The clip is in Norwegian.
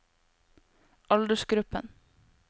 aldersgruppen